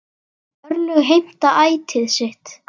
Örlög heimta ætíð sitt.